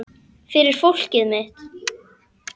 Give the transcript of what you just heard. Fyrir fólkið mitt.